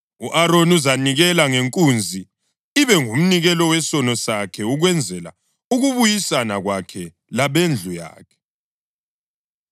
U-Aroni uzanikela ngenkunzi, ibe ngumnikelo wesono sakhe, ukwenzela ukubuyisana kwakhe lokwabendlu yakhe.